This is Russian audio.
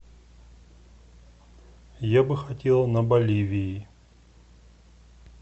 я бы хотела на боливии